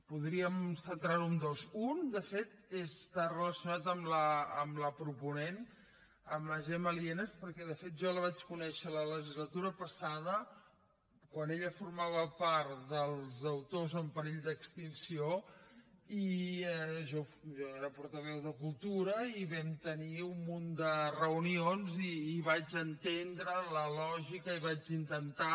podríem centrar ho en dos un de fet està relacionat amb la proponent amb la gemma lienas perquè de fet jo la vaig conèixer la legislatura passada quan ella formava part dels autors en perill d’extinció i jo era portaveu de cultura i vam tenir un munt de reunions i vaig entendre la lògica i vaig intentar